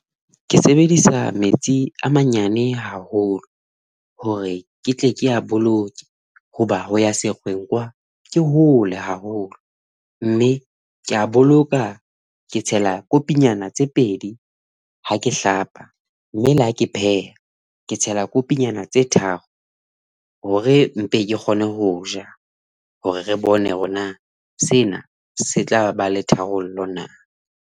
Ke sebedisa metsi a manyane haholo hore ke tle ke a boloke, hoba ho ya sekgoweng kwa ke hole haholo mme ke a boloka. Ke tsela kopinyana tse pedi ha ke hlapa mme le ha ke pheha, ke tsela kopinyana tse tharo hore mpe ke kgone ho ja hore re bone hore na sena se tla ba le tharollo na.